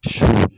Su